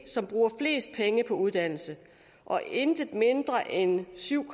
som bruger flest penge på uddannelse og intet mindre end syv